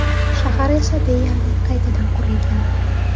Shahar esa deyarli qaytadan qurilgan.